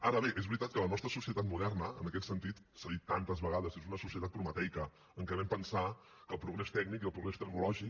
ara bé és veritat que la nostra societat moderna en aquest sentit s’ha dit tantes vegades és una societat prometeica en què vam pensar que el progrés tècnic i el progrés tecnològic